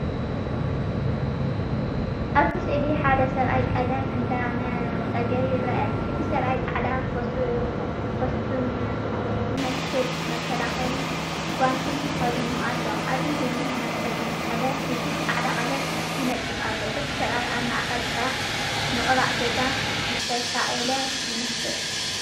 ኣብቲ ስእሊ ሓደ ሰብኣይ ቀለም እንዳነፀገ ይርአ። እቲ ሰብኣይ ጻዕዳ ኮስትሞን ዝመስል መከላኸሊ ጓንቲን ተኸዲኑ ኣሎ። ኣብ ኢዱ መነጸጊ ቀለም ሒዙ ጻዕዳ ቀለም ይነጽግ ኣሎ። እቲ ስእሊ ኣብ ማእከል ስራሕ ምቕባእ ገዛ ዝተሳእለ ይመስል።